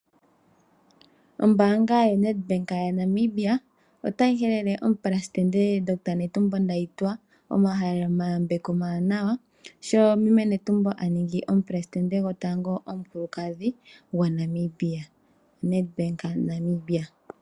Ombaanga yoNEDBANK yaNamibia otayi halele omupresidente Dr Netumbo Ndaitwa omahaleleyambeko omawanawa sho meme Netumbo aningi omupresidente gotango omukulukadhi gwaNamibia .NEDBANK yaNamibia.